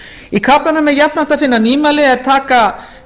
í kaflanum er jafnframt að finna nýmæli er taka